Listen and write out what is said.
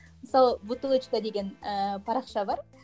мысалы бутылочка деген ііі парақша бар